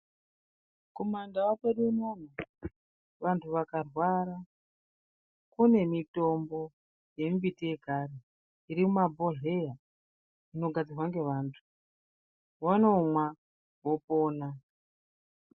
Kumandau kwedu unono vantu vakarwara, kune mitombo yemimbiti yekare iri mumabhodhleya inogadzirwa ngevantu. Vanomwa vopona.